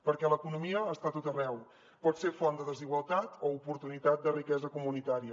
perquè l’economia està a tot arreu pot ser font de desigualtat o oportunitat de riquesa comunitària